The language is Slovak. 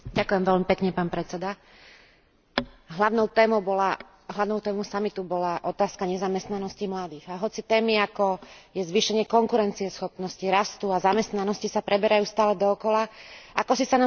Hlavnou témou samitu bola otázka nezamestnanosti mladých a hoci témy, ako je zvýšenie konkurencieschopnosti, rastu a zamestnanosti, sa preberajú stále dookola, akosi sa nám stále nedarí dopracovať sa ku konkrétnym výsledkom.